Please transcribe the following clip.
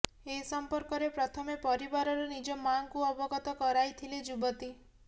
ଏ ସମ୍ପର୍କରେ ପ୍ରଥମେ ପରିବାରର ନିଜ ମାଙ୍କୁ ଅବଗତ କରାଇଥିଲେ ଯୁବତୀ